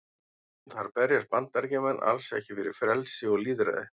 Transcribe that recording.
Þar berjast Bandaríkjamenn alls ekki fyrir frelsi og lýðræði.